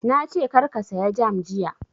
Na ce kar ka saya jam jiya!